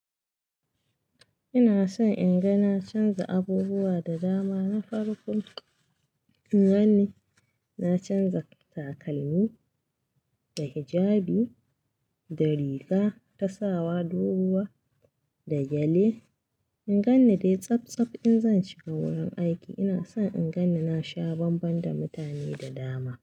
Ina son in ga na canza abubuwa da dama na farko. In ganni na canza takalmi, da hijabi, da riga, ta sawa, doguwa, da gyale. In ganni dai tsaf tsaf in zan shiga wurin aiki. Ina son in ganni na sha banban da mutane da dama.